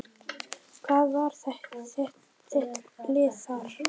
Hvað var þitt lið þar?